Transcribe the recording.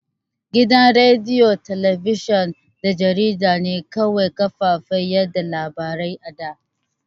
Gidan rediyo, talabijin da jarida ne kawai kafafen yaɗa labarai a da.